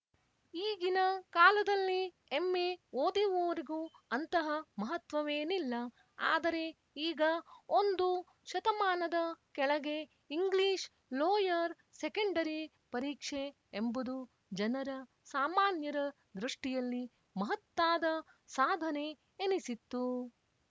ಈಗಿನ ಕಾಲದಲ್ಲಿ ಎಂಎ ಓದಿವರಿಗೂ ಅಂತಹ ಮಹತ್ವವೇನಿಲ್ಲ ಆದರೆ ಈಗ ಒಂದು ಶತಮಾನದ ಕೆಳಗೆ ಇಂಗ್ಲಿಷ್‌ ಲೋಯರ್ ಸೆಕೆಂಡರಿ ಪರೀಕ್ಷೆ ಎಂಬುದು ಜನರ ಸಾಮಾನ್ಯರ ದೃಷ್ಟಿಯಲ್ಲಿ ಮಹತ್ತಾದ ಸಾಧನೆ ಎನಿಸಿತ್ತು